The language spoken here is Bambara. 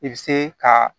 I bɛ se ka